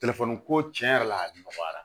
ko tiɲɛ yɛrɛ la a nɔgɔyara